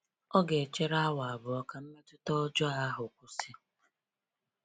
Ọ ga-echere awa abụọ ka mmetụta ọjọọ ahụ kwụsị.